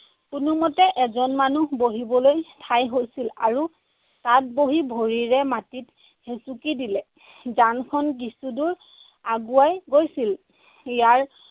কোনোমতে এজন মানুহ বঢ়িবলৈ ঠাই হৈছিল আৰু তাত বহি ভৰিৰে মাটিত হেচুকি দিলে যানখন কিছু দূৰ আগুৱাই গৈছিল। ইয়াৰ